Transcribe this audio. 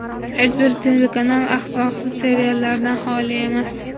Hech bir telekanal axloqsiz seriallardan xoli emas.